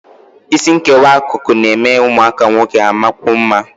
Isi nkewa akụkụ na-eme ụmụaka nwoke amakwuo mma